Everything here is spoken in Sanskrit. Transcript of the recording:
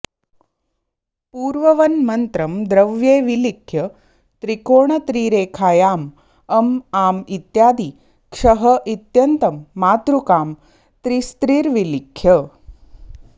पूर्ववन्मन्त्रं द्रव्ये विलिख्य त्रिकोणत्रिरेखायां अं आं इत्यादि क्षः इत्यन्तं मातृकां त्रिस्त्रिर्विलिख्य